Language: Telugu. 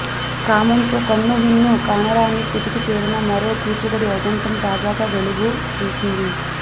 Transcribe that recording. కామంతో కన్నుమిన్ను కానరాని స్థితికి చేరిన మరో కీచకుడి ఉదంతం తాజాగా వెలుగు చూసింది